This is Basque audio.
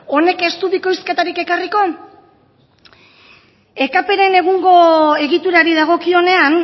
honek ez du bikoizketarik ekarriko ekp ren egungo egiturari dagokionean